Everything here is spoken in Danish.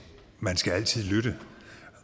man skal altid lytte